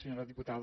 senyora diputada